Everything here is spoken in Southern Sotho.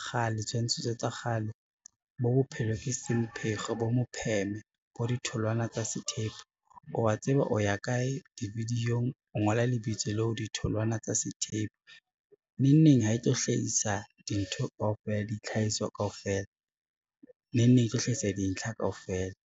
kgale, tshwantshiso tsa kgale bo bophelo ke semphego, bo mopheme, bo ditholwana tsa sethepu wa tseba o ya kae di-video-ng, o ngola lebitso leo ditholwana tsa sethepu, neng neng ha etlo hlahisa dintho kaofela, di tlhahiso kaofela neng neng e tlo hlahisa dintlha kaofela.